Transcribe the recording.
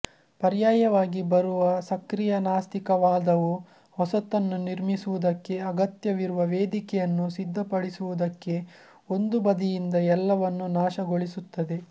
ಪರ್ಯಾಯವಾಗಿ ಬರುವ ಸಕ್ರಿಯ ನಾಸ್ತಿಕವಾದವು ಹೊಸತನ್ನು ನಿರ್ಮಿಸುವುದಕ್ಕೆ ಅಗತ್ಯವಿರುವ ವೇದಿಕೆಯನ್ನು ಸಿದ್ದಪಡಿಸುವುದಕ್ಕೆ ಒಂದು ಬದಿಯಿಂದ ಎಲ್ಲವನ್ನು ನಾಶಗೊಳಿಸುತ್ತದೆ